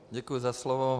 Děkuji za slovo.